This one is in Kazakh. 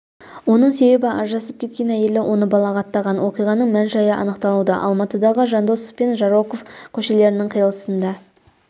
оның себебі ажырасып кеткен әйелі оны балағаттаған оқиғаның мән-жайы анықталуда алматыдағы жандосов пен жароков көшелерінің қиылысында